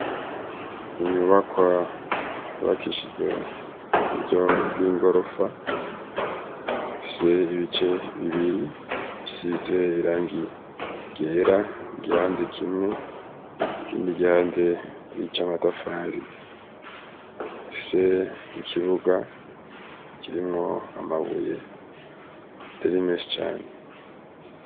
Inyubakwa yubakishijweho muburyo bw'igorofa, ifise ibice bibiri bisize iragi ryera igihande kimwe, ikindi gihande nic'amatafari ifise ikibuga kirimwo amabuye atari menshi cane.